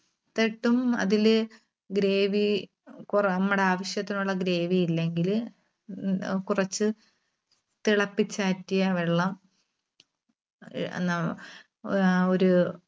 ത്തിട്ടും അതില് gravy കുറെ നമ്മുടെ ആവശ്യത്തിനുള്ള gravy ഇല്ലെങ്കിൽ ഉം അഹ് കുറച്ച് തിളപ്പിച്ചാറ്റിയ വെള്ളം ആഹ് ഒരു